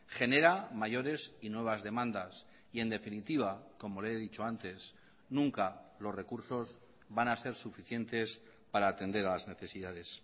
genera mayores y nuevas demandas y en definitiva como le he dicho antes nunca los recursos van a ser suficientes para atender a las necesidades